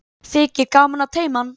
Þykir gaman að teyma hann.